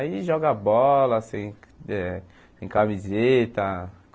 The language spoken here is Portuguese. Aí joga bola, sem eh sem camiseta.